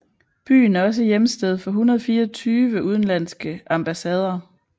Byen er også hjemsted for 124 udenlandske ambassader